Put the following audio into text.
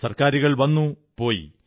സർക്കാരുകൾ വന്നു പോയി